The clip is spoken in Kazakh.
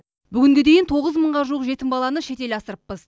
бүгінге дейін тоғыз мыңға жуық жетім баланы шетел асырыппыз